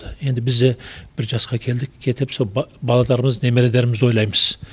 енді біз де бір жасқа келдік келдік сол баларымыз немерелерімізді ойлаймыз